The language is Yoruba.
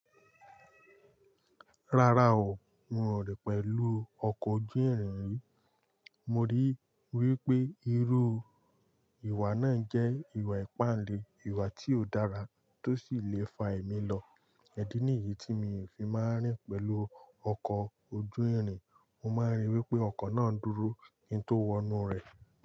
Rárá o, mi ò rìn pẹ̀lú ọkọ̀ ojú irin rí. Mo rí wí pé irú ìwà náà jẹ́ ìwà ìpáǹle, ìwà tí ó dára tó sì lè fa ẹ̀mí lọ. Idí nìyì tí mi ò fi máa rìn pẹ̀lú ọkọ̀ ojú ìrìn, mo máa rí wí pé ọkọ̀ náà ń dúró kí n tó wọ inú rẹ̀.